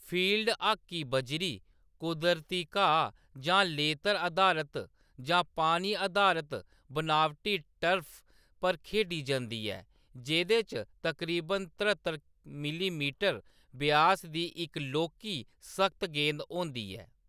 Field hockey बजरी, कुदरती घाऽ, जां लेतर अधारत जां पानी अधारत बनावटी टर्फ पर खेढी जंदी ऐ, जेह्‌दे च तकरीबन तरहत्तर मिलीमीटर व्यास दी इक लौह्‌‌‌की, सख्त गेंद होंदी ऐ।